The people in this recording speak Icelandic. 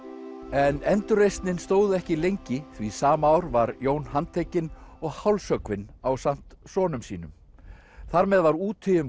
en endurreisnin stóð ekki lengi því sama ár var Jón handtekinn og hálshöggvinn ásamt sonum sínum þar með var úti um